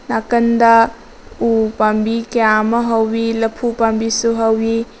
ꯅꯥꯀꯟꯗ ꯎ ꯄꯥꯝꯕꯤ ꯀꯌꯥ ꯑꯃ ꯍꯧꯏ ꯂꯐꯨ ꯄꯥꯝꯕꯤꯁꯨ ꯍꯧꯏ꯫